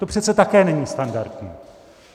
To přece také není standardní.